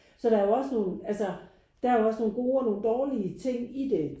Så der er jo også nogen altså der er jo også nogle gode og nogle dårlige ting i det